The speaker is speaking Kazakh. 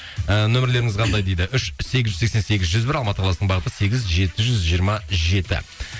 і нөмірлеріңіз қандай дейді үш сегіз жүз сексен сегіз жүз бір алматы қаласының бағыты сегіз жетіз жүз жиырма жеті